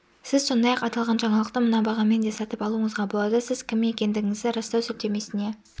сіз сондай-ақ аталған жаңалықты мына бағамен де сатып алуыңызға болады сіз кім екендігіңізді растау сілтемесіне